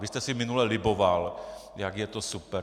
Vy jste si minule liboval, jak je to super.